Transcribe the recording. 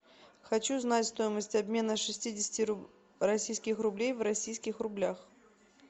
хочу знать стоимость обмена шестидесяти российских рублей в российских рублях